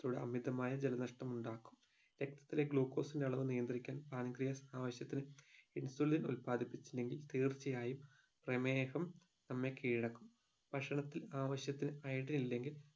ത്തിലൂടെ അമിതമായ ജലനഷ്ടം ഉണ്ടാക്കും രക്തത്തിലെ glucose ന്റെ അളവ് നിയന്ത്രിക്കാൻ pancreas ആവിശത്തിന്‌ insulin ഉല്പാദിപ്പിച്ചില്ലെങ്കിൽ തീർച്ചയായും പ്രേമേഹം നമ്മെ കീഴടക്കും ഭക്ഷണത്തിൽ ആവിശത്തിന് idrin ഇല്ലെങ്കിൽ